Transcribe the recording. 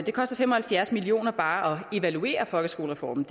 det koster fem og halvfjerds million kroner bare at evaluere folkeskolereformen